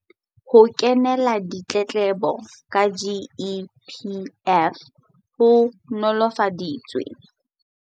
Ho kenya ditletlebo ka GEPF ho nolofaditswe.